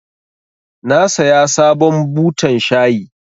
Na saya sabon butan shayi.